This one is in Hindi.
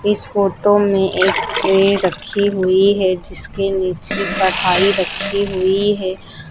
इस फोटो में एक ट्रे रखी हुई है जिसके नीचे कढ़ाई रखी हुई है।